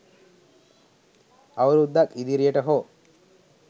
අවුරුදක් ඉදිරියට හෝ